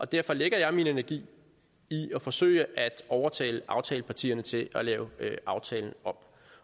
derfor lægger jeg min energi i at forsøge at overtale aftalepartierne til at lave aftalen om